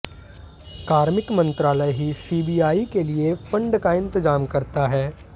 कार्मिक मंत्रालय ही सीबीआई के लिए फंड का इंतजाम करता है